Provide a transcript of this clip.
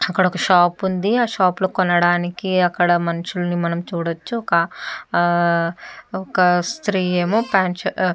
అక్కడా ఒక్క షాప్ ఉంది. ఆ షాప్ లో కొనడానికి అక్కడ మనుషుల్ని మనం చూడొచ్చు. ఒక్క ఆ ఒక స్త్రీ ఏమో ప్యాంటు షర్ట్ --